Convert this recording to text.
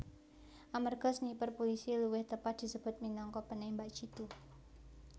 Amerga sniper pulisi luwih tepat disebut minangka penembak jitu